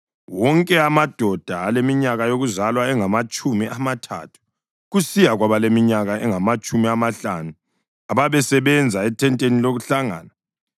Wonke amadoda aleminyaka yokuzalwa engamatshumi amathathu kusiya kwabaleminyaka engamatshumi amahlanu ababesebenza ethenteni lokuhlangana,